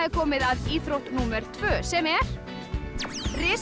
komið að íþrótt númer tvö sem er risa